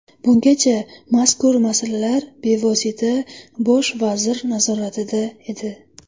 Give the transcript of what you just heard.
Bungacha mazkur masalalar bevosita bosh vazir nazoratida edi.